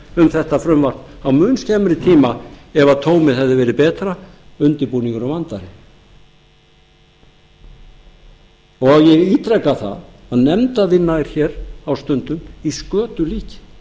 um þetta frumvarp á mun skemmri tíma ef tómið hefði verið betra undirbúningurinn vandaðri ég ítreka það að nefndarvinna er hér á stundum í skötulíki